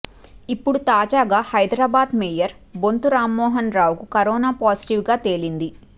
ఇప్పుడు తాజాగా హైదరాబాద్ మేయర్ బొంతు రామ్మోహన్ రావుకు కరోనా పాజిటివ్గా తేలింది